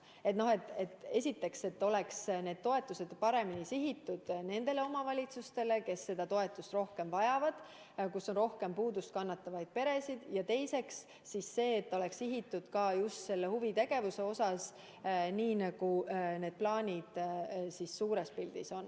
Esiteks, et see toetus oleks paremini sihitud nendele omavalitsustele, kes seda rohkem vajavad, kus on rohkem puudust kannatavaid peresid, ja teiseks, et see oleks sihitud ka just huvitegevusele, nii nagu need plaanid suures pildis on.